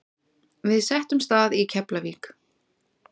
Við settumst að í Keflavík.